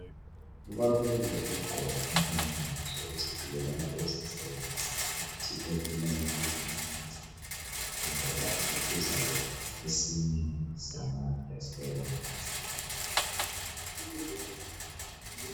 Kubalulekile ukugqoka impahla zokuzivikela lapho uzasebenzisa imithi ebulala izinanakazana kumbe lapho uzayenza esinye samaexperiments